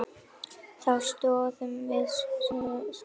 Þá stóðum við sko saman.